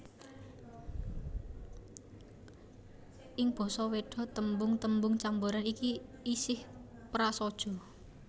Ing basa Wéda tembung tembung camboran iki isih prasaja